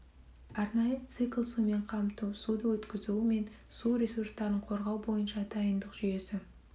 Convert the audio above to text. арнайы цикл сумен қамту суды өткізу мен су ресурстарын қорғау бойынша дайындық жүйесі